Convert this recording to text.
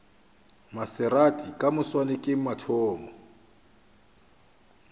maserati ka moswane ke mathomo